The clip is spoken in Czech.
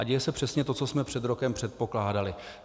A děje se přesně to, co jsme před rokem předpokládali.